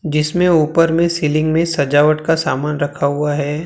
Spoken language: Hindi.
जिसमें ऊपर में सीलिंग में सजावट का सामान रखा हुआ है।